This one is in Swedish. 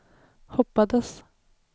hoppades